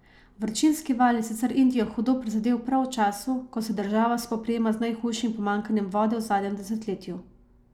Vročinski val je sicer Indijo hudo prizadel prav v času, ko se država spoprijema z najhujšim pomanjkanjem vode v zadnjem desetletju.